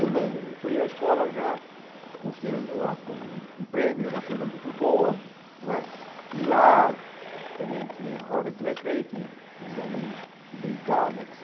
Eu não, eu fui à escola já considerando-a como um prêmio, uma coisa muito boa não é, e lá também tinha hora de recreio, tinha tinha os amigos que brincavam, et